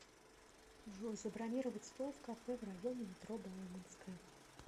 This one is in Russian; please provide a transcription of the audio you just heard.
джой забронировать стол в кафе в районе метро бауманская